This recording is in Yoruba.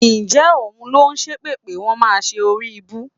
Ǹjẹ́ òun ló ṣépè pé wọ́n máa ṣe oríibú?